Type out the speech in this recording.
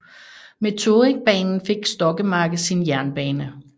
Med Torrigbanen fik Stokkemarke sin jernbane